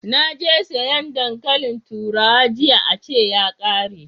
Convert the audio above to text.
Naje sayan dankalin turawa jiya a ce ya kare